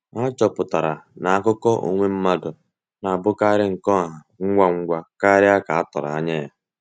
Há chọ̀pụtara na àkụ̀kọ̀ onwe mmadụ na-abụkarị nke ọ̀hà ngwa ngwa kárị à ka a tụrụ anya.